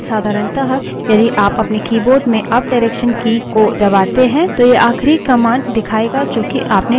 पहले साधारणतः यदि आप अपने keyboard में अपडायरेक्सन की की को दबाते हैं तो यह आखिरी command दिखायेगा जो कि आपने टाइप की है